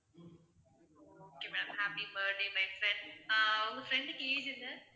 okay ma'am happy birthday my friend ah உங்க friend க்கு age என்ன?